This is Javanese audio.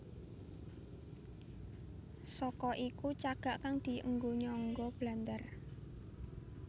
Saka iku cagak kang dienggo nyangga blandar